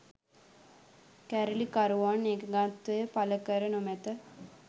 කැරලිකරුවන් එකඟත්වය පළ කර නොමැත